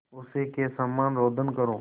उसी के समान रोदन करूँ